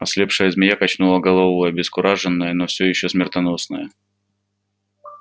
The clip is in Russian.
ослепшая змея качнула головой обескураженная но всё ещё смертоносная